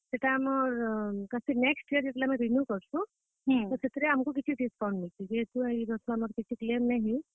ସେଟା ଆମର next year ଯେତେବେଲେ renew କରସୁଁ ତ ସେଥିରେ ଆମକୁ କିଛି discount ମିଲସି। ଯେହେତୁ ଆମର ଇ ବର୍ଷ କିଛି ଗୁଟେ ନାଇ ହେଇ।